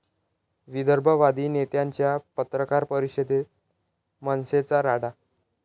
विदर्भवादी नेत्यांच्या पत्रकार परिषदेत मनसेचा राडा